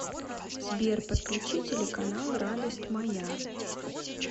сбер подключи телеканал радость моя